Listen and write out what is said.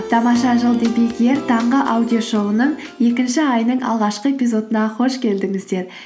тамаша жыл таңғы аудиошоуының екінші айының алғашқы эпизодына қош келдіңіздер